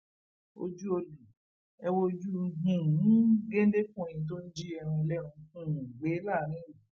ojú ọlẹ ẹ wojú um géńdékùnrin tó ń ji ẹran ẹlẹran um gbé láàrin ìlú